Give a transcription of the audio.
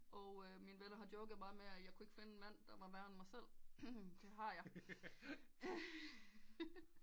Og mine venner har joket meget med jeg ikke mand der var værre end mig selv det har jeg